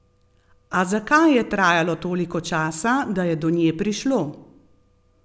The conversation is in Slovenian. A zakaj je trajalo toliko časa, da je do nje prišlo?